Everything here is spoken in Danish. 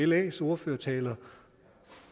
las ordførertaler